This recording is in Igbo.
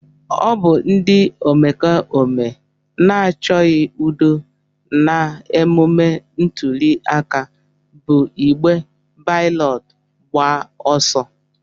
Ọ bụ ndị omekome na-achọghị udo na emume ntụliaka bụ igbe balọtụ agba ọsọ.